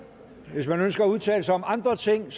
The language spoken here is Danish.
hvis man ønsker at udtale sig om andre ting